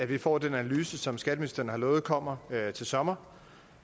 vi får den analyse som skatteministeren har lovet kommer til sommer